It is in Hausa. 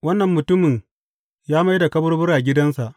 Wannan mutumin ya mai da kaburbura gidansa.